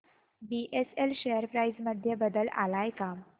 BSL share price मध्ये बदल आलाय का